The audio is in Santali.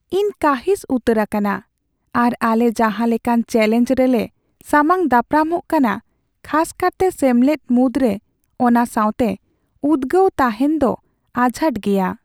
ᱤᱧ ᱠᱟᱺᱦᱤᱥ ᱩᱛᱟᱹᱨ ᱟᱠᱟᱱᱟ ᱟᱨ ᱟᱞᱮ ᱡᱟᱦᱟᱸ ᱞᱮᱠᱟᱱ ᱪᱮᱞᱮᱧᱡᱽ ᱨᱮᱞᱮ ᱥᱟᱢᱟᱝᱼᱫᱟᱯᱨᱟᱢᱚᱜ ᱠᱟᱱᱟ, ᱠᱷᱟᱥᱠᱟᱨᱛᱮ ᱥᱮᱢᱞᱮᱫ ᱢᱩᱫᱽᱨᱮ, ᱚᱱᱟ ᱥᱟᱶᱛᱮ ᱩᱫᱜᱟᱹᱣ ᱛᱟᱦᱮᱱ ᱫᱚ ᱟᱡᱷᱟᱴ ᱜᱮᱭᱟ ᱾